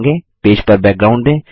page पर background दें